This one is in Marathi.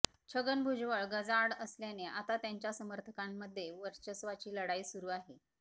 छगन भुजबळ गजाआड असल्याने आता त्यांच्या समर्थकांमध्ये वर्चस्वाची लढाई सुरु आहे